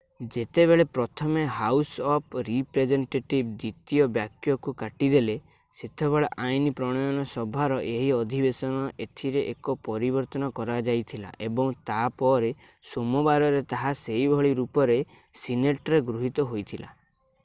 ଯେତେବେଳେ ପ୍ରଥମେ house of representative ଦ୍ୱିତୀୟ ବାକ୍ୟକୁ କାଟି ଦେଲେ ସେତେବେଳେ ଆଇନ ପ୍ରଣୟନ ସଭାର ଏହି ଅଧିବେଶନରେ ଏଥିରେ ଏକ ପରିବର୍ତ୍ତନ କରାଯାଇଥିଲା ଏବଂ ତା'ପରେ ସୋମବାରରେ ତାହା ସେହି ଭଳି ରୂପରେ ସିନେଟରେ ଗୃହୀତ ହୋଇଥିଲା